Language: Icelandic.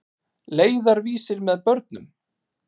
Leiðarvísir með börnum.